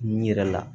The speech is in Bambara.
N yɛrɛ la